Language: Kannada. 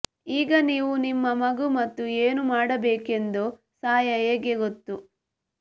ಈಗ ನೀವು ನಿಮ್ಮ ಮಗು ಮತ್ತು ಏನು ಮಾಡಬೇಕೆಂದು ಸಹಾಯ ಹೇಗೆ ಗೊತ್ತು